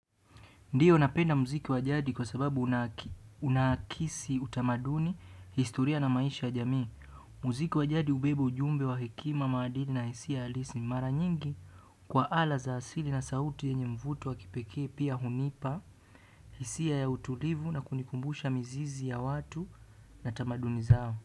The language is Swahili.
Ndiyo, napenda muziki wa jadi kwa sababu unaakisi utamaduni, historia na maisha ya jamii. Muziki wa jadi hubeba ujumbe wa hekima, maadili na hisia halisi, mara nyingi kwa ala za asili na sauti yenye mvuto wa kipekee. Pia hunipa hisia ya utulivu na kunikumbusha mizizi ya watu na tamaduni zao.